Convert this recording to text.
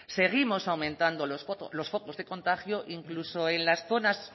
seguimos aumentando los focos de contagio incluso en las zonas